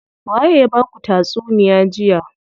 Waye ya baku tatsuniya jiya.